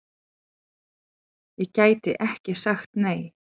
Ég gæti ekki sagt nei!